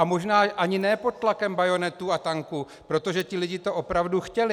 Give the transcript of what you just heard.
A možná ani ne pod tlakem bajonetů a tanků, protože ti lidé to opravdu chtěli.